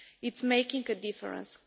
It's making a difference.